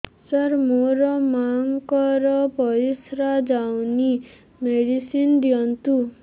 ସାର ମୋର ମାଆଙ୍କର ପରିସ୍ରା ଯାଉନି ମେଡିସିନ ଦିଅନ୍ତୁ